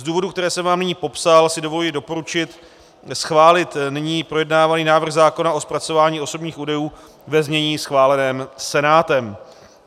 Z důvodů, které jsem vám nyní popsal, si dovoluji doporučit schválit nyní projednávaný návrh zákona o zpracování osobních údajů ve znění schváleném Senátem.